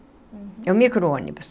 Uhum. É um micro-ônibus.